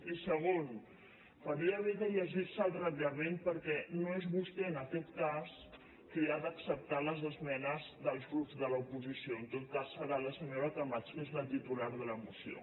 i segon faria bé de llegir se el reglament perquè no és vostè en aquest cas qui ha d’acceptar les esmenes dels grups de l’oposició en tot cas serà la senyora camats que és la titular de la moció